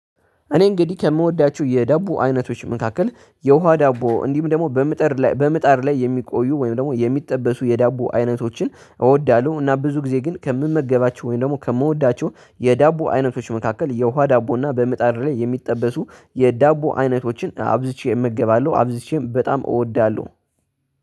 እኔ እንግዲህ ከምወዳችሁ የዳቦ አይነቶች መካከል የውሃ ዳቦ እንዲሁም ደግሞ በምጥር ላይ በምጣር ላይ የሚቆዩ ወይም ደግሞ የሚጠበሱ የዳቦ አይነቶችን እወዳለሁ። እና ብዙ ጊዜ ግን ከምመገባቸው ወይም ደግሞ ከምወዳቸው የዳቦ አይነቶች መካከል የውሃ ዳቦ እና በመጣድ ላይ የሚጠበሱ የዳቦ አይነቶችን አብዝቼ እመገባለሁ አብዝቼም በጣም እወዳለሁ።